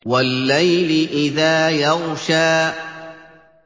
وَاللَّيْلِ إِذَا يَغْشَىٰ